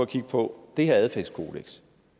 kigge på det her adfærdskodeks